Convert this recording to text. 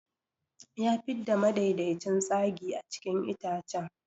Ya fidda madaidaicin tsagi a cikin itacen.